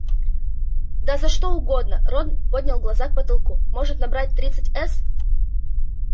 да за что угодно рон поднял глаза к потолку может набрал тридцать с